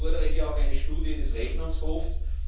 Ich fordere hier auch eine Studie des Rechnungshofs.